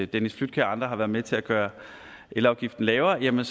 dennis flydtkjær og andre har været med til at gøre elafgiften lavere vil